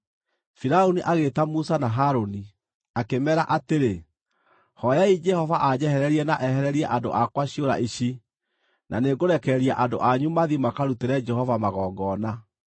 Firaũni agĩĩta Musa na Harũni, akĩmeera atĩrĩ, “Hooyai Jehova anjehererie na ehererie andũ akwa ciũra ici, na nĩngũrekereria andũ anyu mathiĩ makarutĩre Jehova magongona.”